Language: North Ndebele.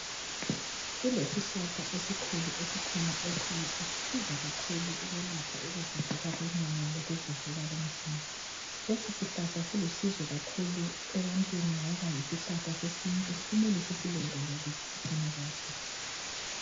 Kulesihlala esikhona ekhaya eselapha ukuvuvuka komzimba, lesi sihlahla silusizo kakhulu ebantwini ngoba yisihlahla sesintu kumele sisilondoloze sigcine kahle